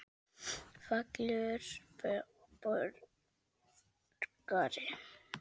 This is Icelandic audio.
Fallegur borgari?